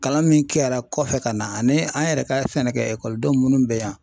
Kalan min kɛra kɔfɛ ka na ani an yɛrɛ ka sɛnɛ kɛ ekɔlidenw minnu bɛ yan